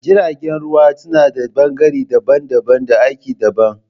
Jiragen ruwa su nada bangare daban daban da aiki daban